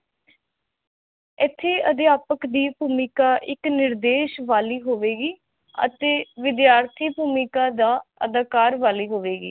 ਇਥੇ ਅਧਿਆਪਕ ਦੀ ਭੂਮਿਕਾ ਇਕ ਨਿਰਦੇਸ਼ ਵਾਲੀ ਹੋਵੇਗੀ ਅਤੇ ਵਿਧਿਆਰਥੀ ਭੂਮਿਕਾ ਦਾ ਅਧਿਕਾਰ ਵਾਲੀ ਹੋਵੇਗੀ